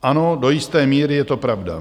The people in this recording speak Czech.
Ano, do jisté míry je to pravda.